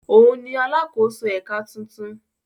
Òun ni “ alákòóso ẹ̀ka” tuntun.